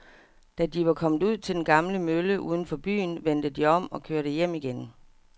Da de var kommet ud til den gamle mølle uden for byen, vendte de om og kørte hjem igen.